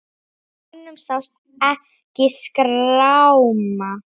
Á honum sást ekki skráma.